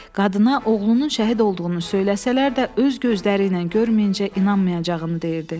Qadına oğlunun şəhid olduğunu söyləsələr də öz gözləri ilə görməyincə inanmayacağını deyirdi.